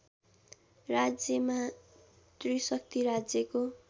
राज्यमा त्रिशक्ति राज्यको